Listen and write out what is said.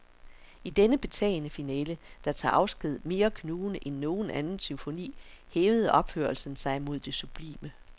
I denne betagende finale, der tager afsked mere knugende end nogen anden symfoni, hævede opførelsen sig mod det sublime.